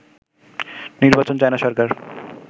নির্বাচন চায় না সরকার